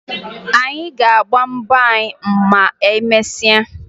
Anyị ga-agba mbọ anyị ma emesịa